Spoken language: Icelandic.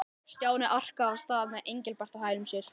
Stjáni arkaði af stað með Engilbert á hælum sér.